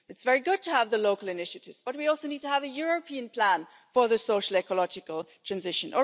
It's very good to have local initiatives, but we also need to have a European plan for social ecological transition.